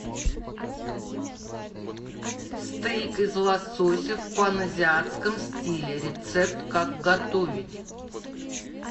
стейк из лосося в паназиатском стиле рецепт как готовить